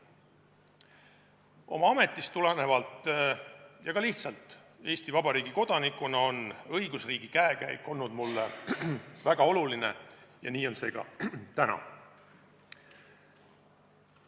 Oma ametist tulenevalt ja ka lihtsalt Eesti Vabariigi kodanikuna on õigusriigi käekäik olnud mulle väga oluline ja nii on see ka täna.